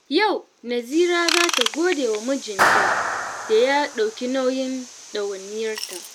Yau Nazira za ta gode wa mijinta da ya ɗauki nauyin ɗawainiyarta.